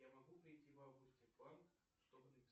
я могу прийти в августе в банк чтобы